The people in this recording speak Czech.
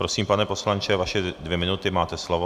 Prosím, pane poslanče, vaše dvě minuty, máte slovo.